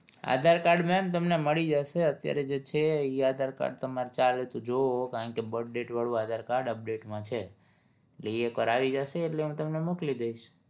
aadhar card ma'am તમને મળી જશે અત્યારે જે છે ઈ aadhar card તમારે ચાલે તો જોવો કારણ કે birth date વાળું aadhar card update માં છે એટલે ઈ એક વાર આવી જાશે એટલે હું તમને મોકલી દઈશ